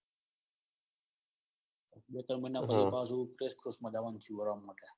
બે ત્રણ મહિના પછી પાછું માં જાવાનું થયું. માટે